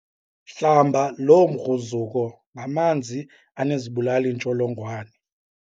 Hlamba loo mgruzuko ngamanzi anezibulali-ntsholongwane.